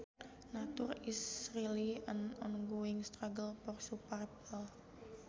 Nature is really an ongoing struggle for survival